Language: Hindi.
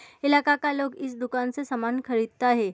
इलाका का लोग इस दुकान से सामान खरीदता है।